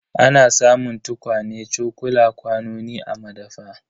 Ana samun tukwane, cokula, kwanoni a madafa.